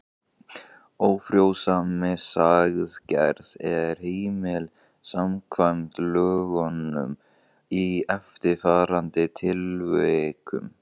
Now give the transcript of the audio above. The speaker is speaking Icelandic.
Ófrjósemisaðgerð er heimil samkvæmt lögunum í eftirfarandi tilvikum